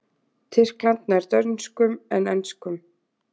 Tyrkland nær dönskum en enskum.